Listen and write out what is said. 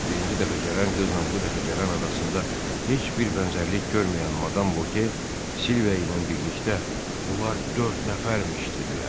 Birinci dəfə gələn qızla bu dəfə gələn arasında heç bir bənzərlik görməyən Madam Voke Silvia ilə birlikdə bunlar dörd nəfərmiş dedilər.